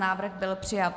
Návrh byl přijat.